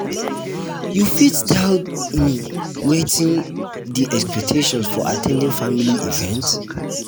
you fit tell um me wetin be um di expectations for at ten ding family events?